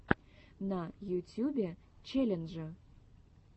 на ютюбе челленджи